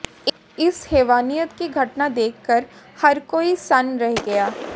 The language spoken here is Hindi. इस हैवानियत की घटना देखकर हर कोई सन्न रह गया